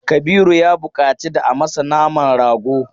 Kabiru ya buƙaci da a masa naman rago.